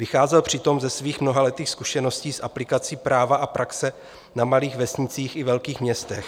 Vycházel přitom ze svých mnohaletých zkušeností z aplikací práva a praxe na malých vesnicích i velkých městech.